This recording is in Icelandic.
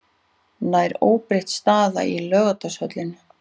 Nær óbreytt staða í Laugardalshöllinni